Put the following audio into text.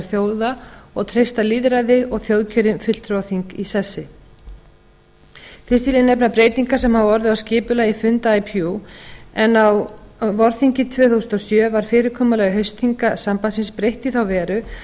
þjóða og treysta lýðræði og þjóðkjörin fulltrúaþing í sessi fyrst vil ég nefna breytingar sem hafa orðið á skipulagi funda ipu en á vorþingi tvö þúsund og sjö var fyrirkomulagi haustþinga sambandsins breytt í þá veru